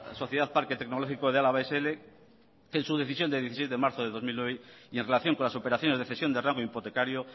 sociedad parque tecnológico de álava sl en su decisión de dieciséis de marzo de dos mil nueve y en relación con las operaciones de cesión de rango hipotecario